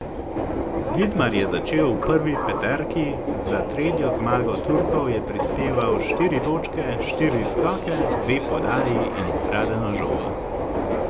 Vidmar je začel v prvi peterki, za tretjo zmago Turkov je prispeval štiri točke, štiri skoke, dve podaji in ukradeno žogo.